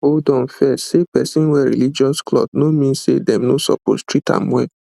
hold on first say person wear religious cloth no mean say dem no suppose treat am well